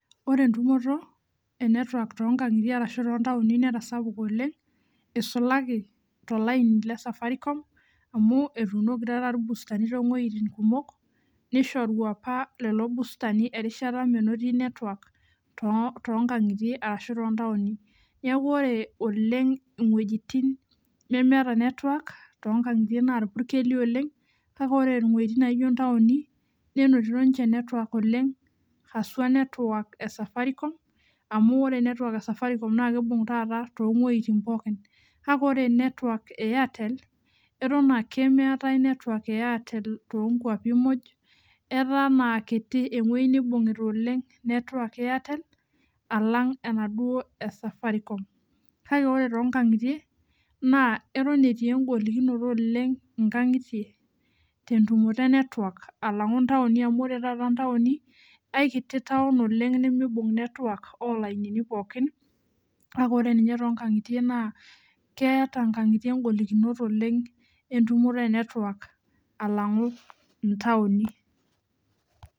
Ore entumoto e network tonkangitie netasapuka oleng isulaki tolainible Safaricom tonkwapi muj ataa kitibewoi nibungita network e airtel ashu enesafaricom neaku ore tonkangitie atan etii engolikino nkangitie tentumoto e network amu ore oshi ntauni na aikiti taun oleng nimibung olainini poki na kwwta nkangitie engolikinoto entumoto e network alangu ntauni